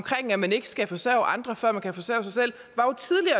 at man ikke skal forsørge andre før man kan forsørge sig selv